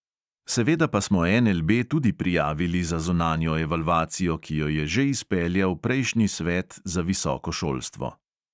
Seveda pa smo NLB tudi prijavili za zunanjo evalvacijo, ki jo je že izpeljal prejšnji svet za visoko šolstvo.